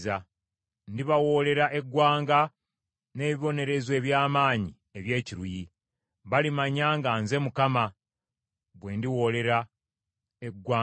Ndibawoolera eggwanga n’ebibonerezo eby’amaanyi eby’ekiruyi. Balimanya nga nze Mukama , bwe ndiwoolera eggwanga ku bo.’ ”